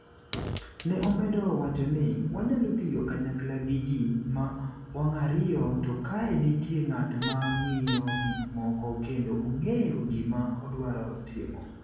Ne omedo wacho ni: Wanyalo tiyo kanyakla gi ji ma wang’ ariyo to kae nitie ng’at ma ng’iyo gik moko kendo ong’eyo gima odwaro timo.